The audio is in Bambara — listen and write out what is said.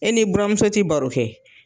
E n'i buramuso te baro kɛ